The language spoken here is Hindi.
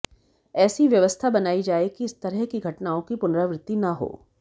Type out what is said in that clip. ऐसी व्यवस्था बनायी जाए कि इस तरह की घटनाओं की पुनरावृत्ति न हो